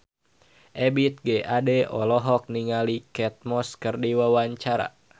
Ebith G. Ade olohok ningali Kate Moss keur diwawancara